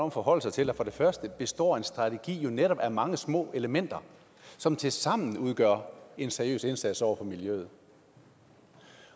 at forholde sig til at for det første består en strategi jo netop af mange små elementer som tilsammen udgør en seriøs indsats over for miljøet